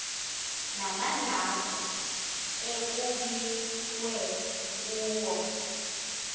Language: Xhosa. namanqaku ekukbiwe kuwo